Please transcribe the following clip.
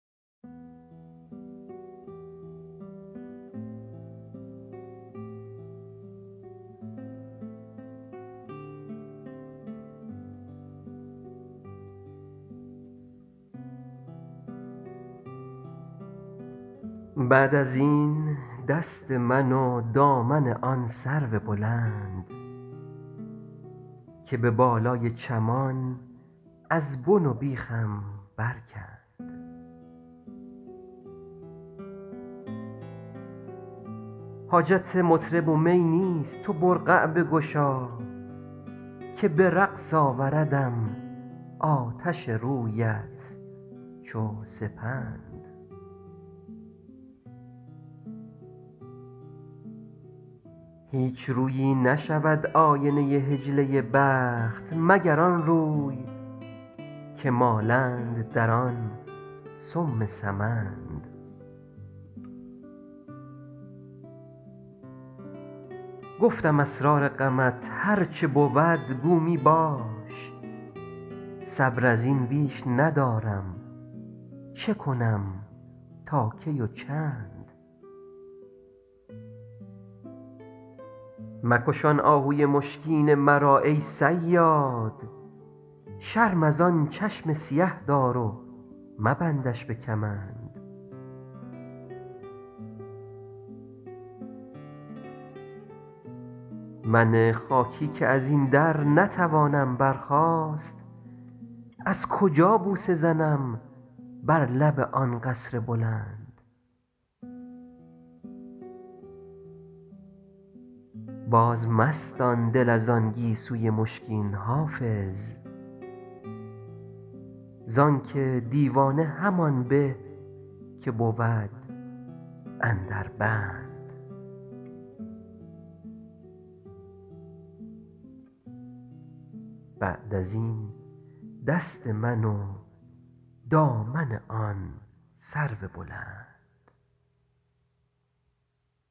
بعد از این دست من و دامن آن سرو بلند که به بالای چمان از بن و بیخم برکند حاجت مطرب و می نیست تو برقع بگشا که به رقص آوردم آتش رویت چو سپند هیچ رویی نشود آینه حجله بخت مگر آن روی که مالند در آن سم سمند گفتم اسرار غمت هر چه بود گو می باش صبر از این بیش ندارم چه کنم تا کی و چند مکش آن آهوی مشکین مرا ای صیاد شرم از آن چشم سیه دار و مبندش به کمند من خاکی که از این در نتوانم برخاست از کجا بوسه زنم بر لب آن قصر بلند بازمستان دل از آن گیسوی مشکین حافظ زان که دیوانه همان به که بود اندر بند